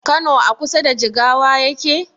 Kano a kusa da jigawa yake?